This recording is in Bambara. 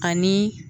Ani